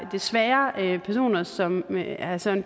desværre er personer som herre søren